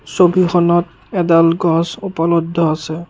ছবিখনত এডাল গছ উপলব্ধ আছে।